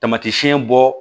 Tamatiɲɛ bɔ